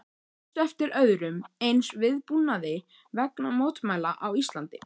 Manstu eftir öðrum eins viðbúnaði vegna mótmæla á Íslandi?